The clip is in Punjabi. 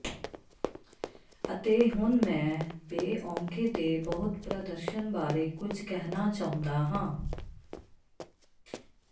ਅਤੇ ਹੁਣ ਮੈਂ ਬੇਔਂਕੇ ਦੇ ਬਹੁਤ ਪ੍ਰਦਰਸ਼ਨ ਬਾਰੇ ਕੁਝ ਕਹਿਣਾ ਚਾਹੁੰਦਾ ਹਾਂ